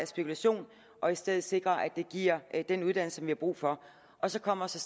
spekulation og i stedet sikrer at det giver den uddannelse vi har brug for så kommer så